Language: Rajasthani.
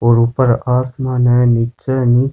और ऊपर आसमान है नीचे--